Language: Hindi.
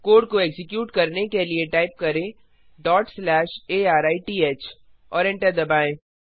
कोड को एक्जीक्यूट करने के लिए टाइप करें arith और एंटर दबाएँ